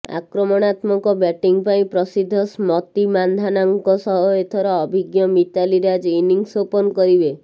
ଆକ୍ରମଣାତ୍ମକ ବ୍ୟାଟିଂ ପାଇଁ ପ୍ରସିଦ୍ଧ ସ୍ମତି ମାନ୍ଧାନାଙ୍କ ସହ ଏଥର ଅଭିଜ୍ଞ ମିତାଲି ରାଜ୍ ଇନିଂସ ଓପନ୍ କରିବେ